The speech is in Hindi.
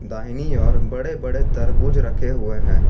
दाहिने और बड़े बड़े तरबूज रखे हुए है।